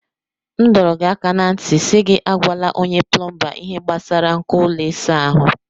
M dọrọ gị aka ná ntị si gị agwala onye plọmba ihe gbasara nko ụlọ ịsa ahụ.